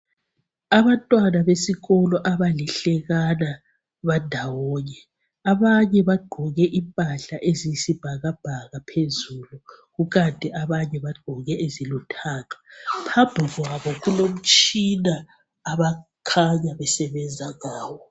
Abantwana besikolo abalihlekana bandawonye. Abanye bagqoke impahla eziyisibhakabhaka phezulu kukanti abanye bagqoke ezilithanga. Phambi kwabo kulomtshina abakhanya besebenza ngawo.